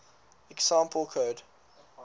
example code